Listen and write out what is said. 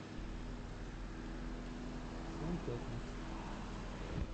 семь пятниц